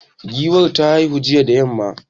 Giwar ta haihu jiya da yamma.